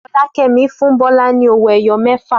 Fọlákẹ́mi fún Bọ́lá ní owó-ẹyọ mẹ́fà.